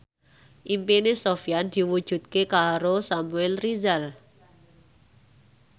impine Sofyan diwujudke karo Samuel Rizal